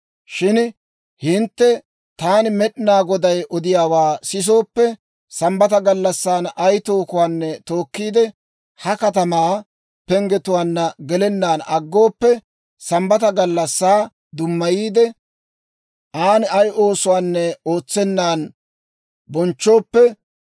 «‹ «Shin hintte taani Med'inaa Goday odiyaawaa sisooppe, Sambbata gallassan ay tookuwaanne tookkiide, ha katamaa penggetuwaanna gelennaan aggooppe, Sambbata gallassaa dummayiide, an ay oosuwaanne ootsennan bonchchooppe,